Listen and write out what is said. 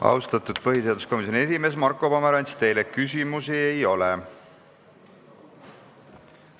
Austatud põhiseaduskomisjoni esimees Marko Pomerants, teile küsimusi ei ole.